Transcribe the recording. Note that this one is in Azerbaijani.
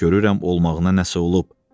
Görürəm olmağına nəsə olub.